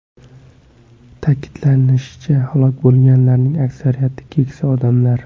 Ta’kidlanishicha, halok bo‘lganlarning aksariyati keksa odamlar.